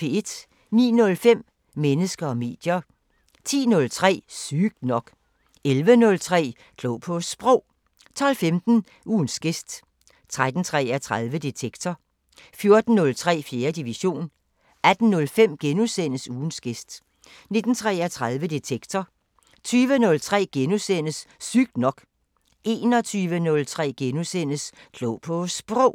09:05: Mennesker og medier 10:03: Sygt nok 11:03: Klog på Sprog 12:15: Ugens gæst 13:33: Detektor 14:03: 4. division 18:05: Ugens gæst * 19:33: Detektor 20:03: Sygt nok * 21:03: Klog på Sprog *